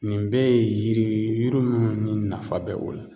Nin bɛɛ ye yiri ye yiri minnu ni nafa bɛ o la.